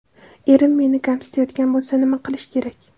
Erim meni kamsitayotgan bo‘lsa nima qilish kerak?